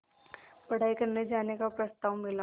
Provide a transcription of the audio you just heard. पढ़ाई करने जाने का प्रस्ताव मिला